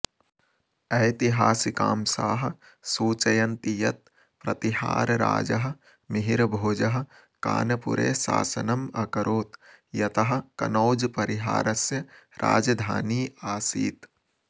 ऐतिहासिकांशाः सूचयन्ति यत् प्रतिहारराजः मिहिरभोजः कानपुरे शासनम् अकरोत् यतः कनौज् परिहारस्य राजधानी आसीत्